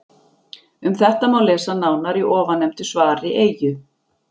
Um þetta má lesa nánar í ofannefndu svari Eyju.